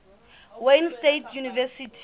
wayne state university